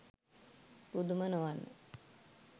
පුදුම නොවන්න